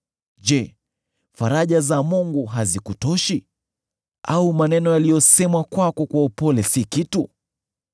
Je, faraja za Mungu hazikutoshi, au maneno yaliyosemwa kwako kwa upole si kitu?